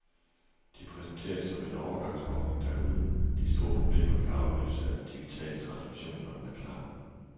De præsenterer det som en overgangsordning, der uden de store problemer kan afløses af den digitale transmission, når den er klar.